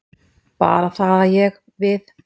Bara það að ég. við.